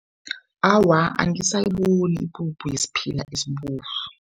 Awa, angisayiboni ipuphu yesiphila esibovu.